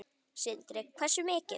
Sindri: Hversu mikið?